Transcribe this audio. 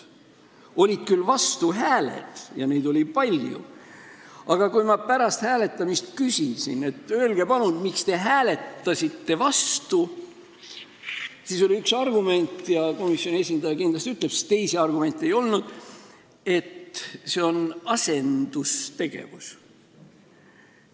Olid küll vastuhääled, ja neid oli palju, aga kui ma pärast hääletamist küsisin, et öelge palun, miks te hääletasite vastu, siis oli üks argument – ka komisjoni esindaja seda kindlasti ütleb, sest teisi argumente ei olnud –, et see on asendustegevus.